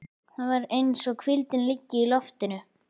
Það er eins og hvíldin liggi í loftinu.